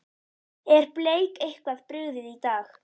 Er Bleik eitthvað brugðið í dag?